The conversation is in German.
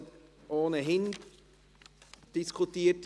Dieses Traktandum wird somit ohnehin diskutiert.